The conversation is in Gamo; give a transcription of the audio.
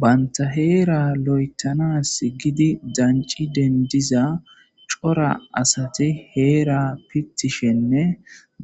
Banitta herra loyithanasi deniddida corra assati hera pitishenne